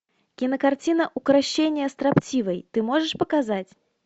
кинокартина укрощение строптивой ты можешь показать